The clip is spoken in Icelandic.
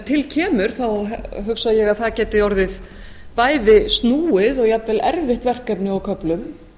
til kemur hugsa ég að það geti orðið bæði snúið og jafnvel erfitt verkefni á köflum